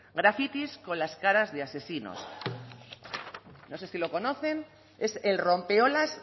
grafitis con las caras de asesinos no sé si lo conocen es el rompeolas